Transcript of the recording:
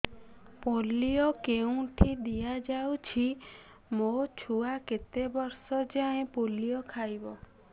polio କେଉଁଠି ଦିଆଯାଉଛି ମୋ ଛୁଆ କେତେ ବର୍ଷ ଯାଏଁ ପୋଲିଓ ଖାଇବ